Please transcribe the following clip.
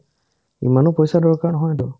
ইমানো পইচাৰ দৰকাৰ নহয়তো